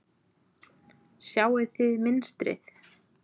Sjáið þið mynstrið?